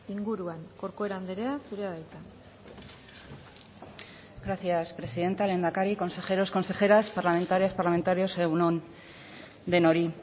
inguruan corcuera andrea zurea da hitza gracias presidente lehendakari consejeros consejeras parlamentarias parlamentarios egun on denoi